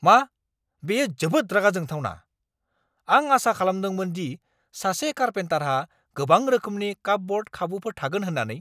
मा? बेयो जोबोद रागा जोंथावना! आं आसा खालामदोंमोन दि सासे कारपेन्टारहा गोबां रोखोमनि कापब'र्ड खाबुफोर थागोन होन्नानै।